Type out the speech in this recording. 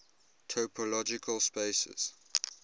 topological spaces